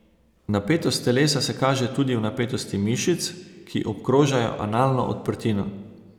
Napetost telesa se kaže tudi v napetosti mišic, ki obkrožajo analno odprtino.